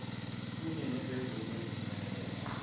kunye nezimvume ezimayelana